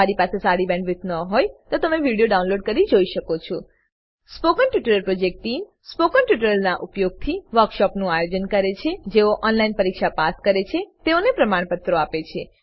જો તમારી પાસે સારી બેન્ડવિડ્થ ન હોય તો તમે વિડીયો ડાઉનલોડ કરીને જોઈ શકો છો spoken tutorial project team spoken ટ્યુટોરીયલોનાં ઉપયોગથી વર્કશોપોનું આયોજન કરે છે જેઓ ઓનલાઈન પરીક્ષા પાસ કરે છે તેઓને પ્રમાણપત્રો આપે છે